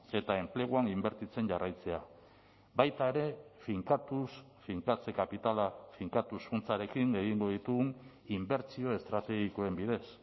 eta enpleguan inbertitzen jarraitzea baita ere finkatuz finkatze kapitala finkatuz funtsarekin egingo ditugun inbertsio estrategikoen bidez